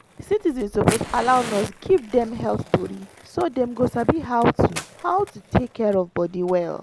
citizens suppose allow nurse give dem health tori so dem go sabi how to how to take care of body well.